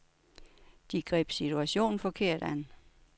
De greb situationen forkert an.